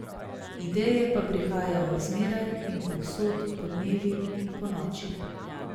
Ideje pa prihajajo zmeraj in povsod, podnevi in ponoči.